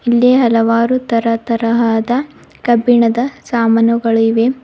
ಇಲ್ಲಿ ಹಲವಾರು ತರ ತರಹದ ಕಬ್ಬಿಣದ ಸಾಮಾನುಗಳಿವೆ.